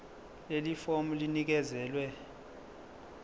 leli fomu linikezelwe